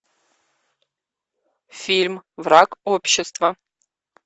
фильм враг общества